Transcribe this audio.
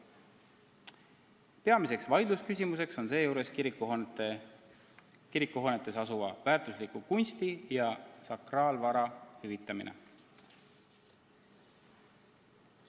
Peamine vaidlusküsimus on seejuures kirikuhoonetes asuva väärtusliku kunsti ja sakraalvara hüvitamine.